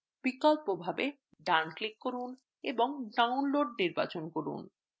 বিকল্পভাবে ডান click করুন এবং download নির্বাচন করুন